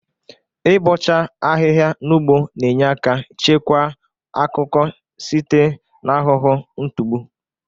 Ị bọcha ahịha n'ugbo na-enye aka chekwa akụkọ site n'ahụhụ ntụgbụ.